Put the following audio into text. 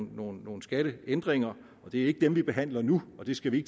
nogle nogle skatteændringer det er ikke dem vi behandler nu og det skal vi